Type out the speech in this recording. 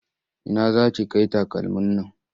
Ina za ki kai takalmin nan?